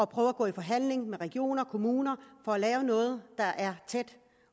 prøver at gå i forhandling om med regioner og kommuner for at lave noget der er tæt